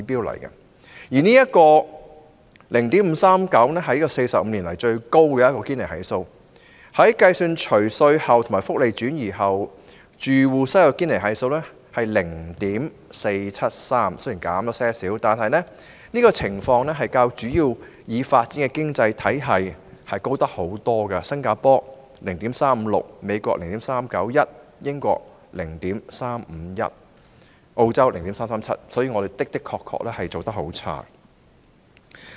0.539 是45年來最高的堅尼系數，即使計算除稅後及福利轉移後，住戶收入的堅尼系數為 0.473， 雖然略有下降，但仍遠高於其他主要已發展經濟體，新加坡的數字是 0.356、美國是 0.391、英國是 0.351， 而澳洲是 0.337。